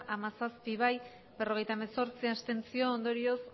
hamazazpi bai berrogeita hemezortzi abstentzio ondorioz